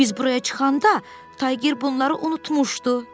Biz buraya çıxanda tayger bunları unutmuşdu.